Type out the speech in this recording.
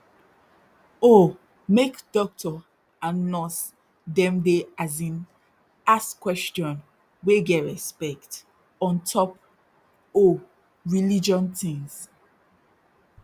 oh make dokto and nurse dem dey as in ask question wey get respect ontop oh religion tins